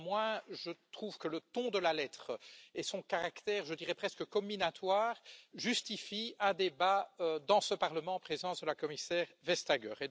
Néanmoins, je trouve que le ton de la lettre et son caractère, je dirais presque, comminatoire justifient un débat dans ce Parlement en présence de la commissaire Vestager.